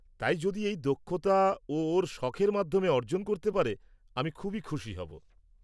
-তাই যদি এই দক্ষতা ও ওর শখের মাধ্যমে অর্জন করতে পারে আমি খুবই খুশি হব।